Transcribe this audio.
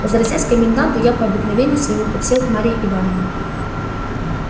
возвратясь к коменданту я по обыкновению своему подсел к марье ивановне